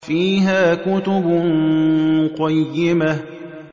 فِيهَا كُتُبٌ قَيِّمَةٌ